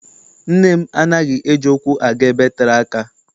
Nne m anaghị eji ụkwụ aga ebe tere aka.